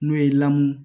N'o ye lamun